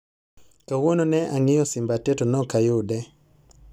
Kawuono ne ang'iyo simba te to ne ok ayude